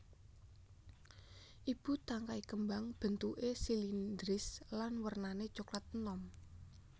Ibu tangkai kembang bentuké silindris lan wernané coklat enom